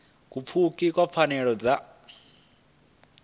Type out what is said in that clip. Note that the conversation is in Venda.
u pfukiwa ha pfanelo dza